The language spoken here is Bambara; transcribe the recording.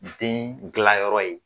Den dilanyɔrɔ ye